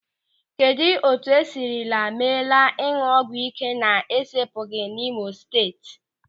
Kedụ etu esiri meela ịñụ ọgwụ ị́ké na-esepụghị n'Imo Steeti?